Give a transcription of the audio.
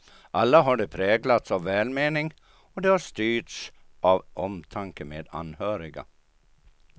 Alla har de präglats av välmening och de har styrts av omtanke med anhöriga.